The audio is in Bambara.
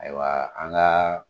Ayiwa an ga